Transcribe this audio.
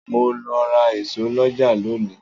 Mo lọ ra ìṣó lọ́jà lónìí.